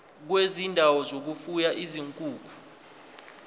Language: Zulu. kwezindawo zokufuya izinkukhu